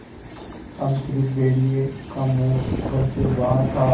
अब स़िर्फ भेड़िए का मुँह घर से बाहर था